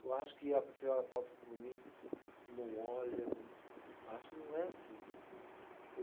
Eu acho que a senhora passa por mim, não olha, não, eu acho que não é assim.